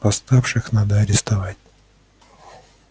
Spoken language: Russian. восставших надо арестовать